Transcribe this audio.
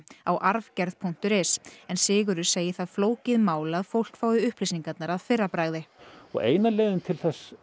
á arfgerð punktur is en Sigurður segir það flókið mál að fólk fái upplýsingarnar að fyrra bragði eina leiðin til